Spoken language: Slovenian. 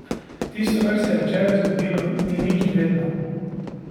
Tisto, kar se je včeraj zgodilo, ni nič vredno.